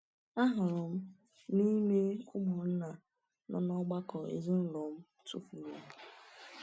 Ahụrụ m n’ime ụmụnna nọ n’ọgbakọ ezinụlọ m tụfuru.